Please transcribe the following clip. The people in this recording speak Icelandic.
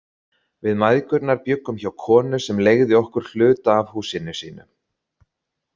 Við mæðgurnar bjuggum hjá konu sem leigði okkur hluta af húsinu sínu.